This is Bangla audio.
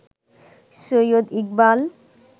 সৈয়দ ইকবাল